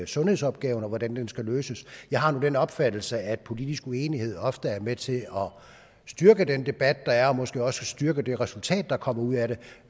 sundhedsopgaverne og hvordan de skal løses jeg har nu den opfattelse at politisk uenighed ofte er med til styrke den debat der er og måske også styrke det resultat der kommer ud af